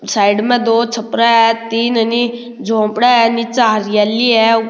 side में दो छप्रो है तीन झोपड़ा है नीचे हरियाली है ऊ --